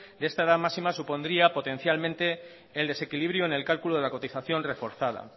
de esta edad máxima supondría potencialmente el desequilibrio en el cálculo de la cotización reforzada